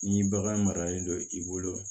Ni bagan maralen do i bolo